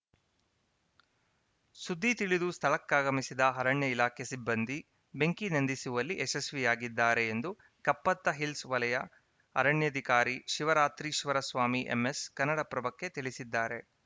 ಸುದ್ದಿ ತಿಳಿದು ಸ್ಥಳಕ್ಕಾಗಮಿಸಿದ ಅರಣ್ಯ ಇಲಾಖೆ ಸಿಬ್ಬಂದಿ ಬೆಂಕಿ ನಂದಿಸುವಲ್ಲಿ ಯಶಸ್ವಿಯಾಗಿದ್ದಾರೆ ಎಂದು ಕಪ್ಪತ್ತಹಿಲ್ಸ್‌ ವಲಯ ಅರಣ್ಯಾಧಿಕಾರಿ ಶಿವರಾತ್ರೀಶ್ವರ ಸ್ವಾಮಿ ಎಂಎಸ್‌ ಕನ್ನಡಪ್ರಭಕ್ಕೆ ತಿಳಿಸಿದ್ದಾರೆ